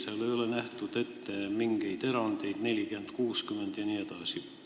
Seal ei ole ette nähtud mingeid erandeid, et 40 : 60 vms.